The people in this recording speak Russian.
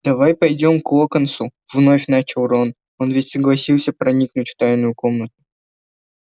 давай пойдём к локонсу вновь начал рон он ведь согласился проникнуть в тайную комнату